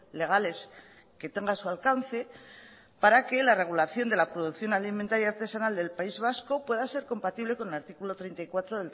legales que tenga a su alcance para que la regulación de la producción alimentaria artesanal del país vasco pueda ser compatible con el artículo treinta y cuatro